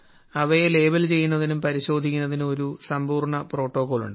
അവയെ ലേബൽ ചെയ്യുന്നതിനും പരിശോധിക്കുന്നതിനും ഒരു സമ്പൂർണ്ണ പ്രോട്ടോക്കോൾ ഉണ്ട്